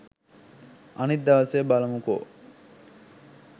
අනිත් දවසේ බලමුකෝ